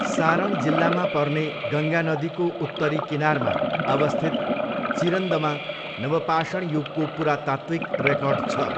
सारण जिल्लामा पर्ने गङ्गा नदीको उत्तरी किनारमा अवस्थित चिरन्दमा नवपाषाण युगको पुरातात्त्विक रेकर्ड छ।